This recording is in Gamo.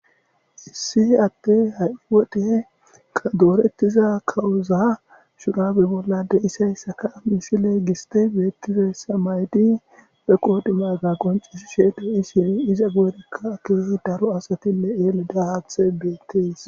issi atte hay wodhe doorettiza kawuzaa shugabe bolla de isayssaka mishile giste beetifessamaydi be qodimaga qoncish sheede isini iza geerekka keesi daro asatinne eele dahaath beetees